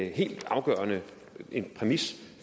helt afgørende præmis